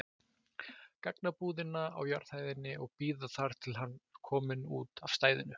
gagnabúðina á jarðhæðinni og bíða þar til hann er kominn út af stæðinu.